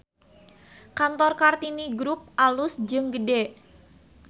Kantor Kartini Grup alus jeung gede